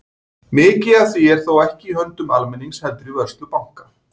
Mikið af því er þó ekki í höndum almennings heldur í vörslu banka.